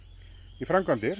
í framkvæmdir